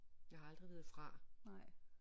Jeg har aldrig været fra